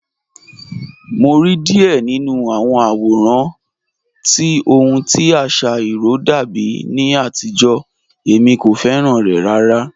Mo rí díẹ̀ nínu àwọn àwòràn tí ọ̀hun tí àṣà irò dàbí ní àtìjó, èmi kò fẹ́ràn rẹ̀ ràrà